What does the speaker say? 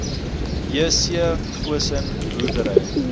jc goosen boerdery